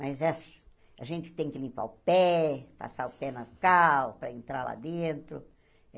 Mas eh a gente tem que limpar o pé, passar o pé na cal, para entrar lá dentro.